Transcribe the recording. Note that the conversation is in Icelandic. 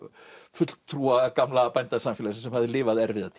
fulltrúa gamla bændasamfélagsins sem hafði lifað erfiða